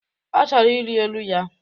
Ọ chọrọ iri elu ya